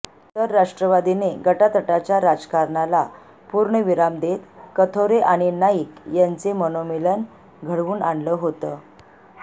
तर राष्ट्रवादीने गटातटाच्या राजकारणाला पूर्ण विराम देत कथोरे आणि नाईक यांचे मनोमिलन घडवून आणलं होतं